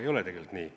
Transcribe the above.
Ei ole tegelikult nii.